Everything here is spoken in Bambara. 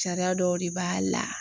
Sariya dɔw de b'a la.